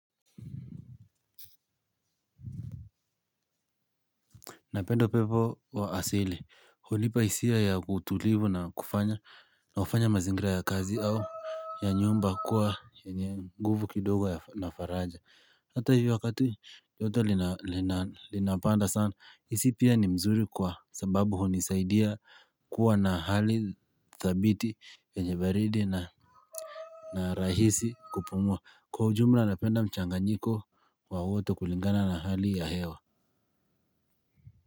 Napenda upepo wa asili, hunipa hisia ya utulivu na kufanya, na kufanya mazingira ya kazi au ya nyumba kuwa yenye nguvu kidogo na faraja. Hata hivyo wakati, joto linapanda sana, isi pia ni mzuri kwa sababu hunisaidia kuwa na hali thabiti yenye baridi na rahisi kupumua. Kwa ujumla napenda mchanganyiko wa wote kulingana na hali ya hewa.